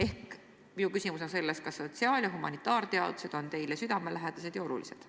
Ehk siis minu küsimus on, kas sotsiaal- ja humanitaarteadused on teile südamelähedased ja olulised.